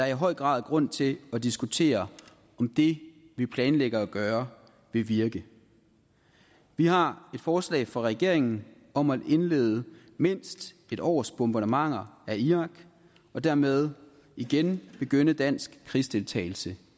i høj grad grund til at diskutere om det vi planlægger at gøre vil virke vi har et forslag fra regeringen om at indlede mindst et års bombardementer af irak og dermed igen begynde dansk krigsdeltagelse